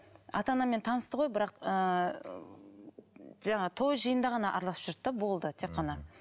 ата анаммен танысты ғой бірақ ыыы жаңағы той жиында ғана араласып жүрді де болды тек қана